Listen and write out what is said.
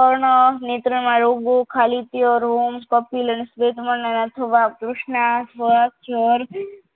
અર્ણ નેત્રના રોગો ખાલી તિયારરોગ તૃષ્ણા પગ જર